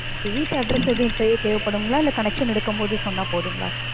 okay வீட்டு address எதுவும் இப்பவே தேவைப்படுங்களா? இல்லை connection எடுக்கும் போது சொன்னா போதுங்களா?